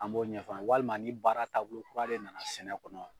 An b'o ɲɛf'a ye walima ni baara taabolo kura de na na sɛnɛ kɔnɔ.